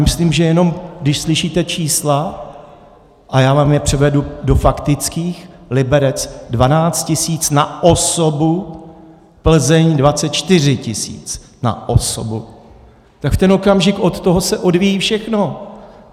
Myslím, že jenom když slyšíte čísla, a já vám je převedu do faktických, Liberec 12 tisíc na osobu, Plzeň 24 tisíc na osobu, tak v ten okamžik od toho se odvíjí všechno.